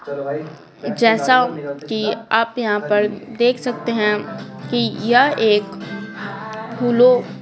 जैसा कि आप यहाँ पर देख सकते हैं कि यह एक फूलो--